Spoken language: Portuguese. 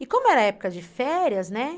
E como era época de férias, né?